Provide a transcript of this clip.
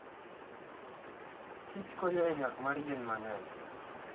Kich kony e nyak mar yien mang'eny